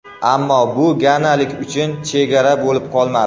Ammo bu ganalik uchun chegara bo‘lib qolmadi.